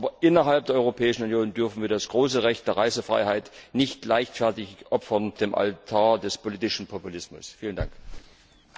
Aber innerhalb der Europäischen Union dürfen wir das große Recht der Reisefreiheit nicht leichtfertig auf dem Altar des politischen Populismus opfern!